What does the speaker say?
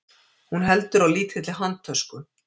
Hún heldur á lítilli handtösku.